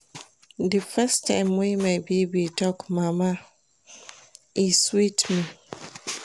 Di first time wey my baby talk mama, e sweet me.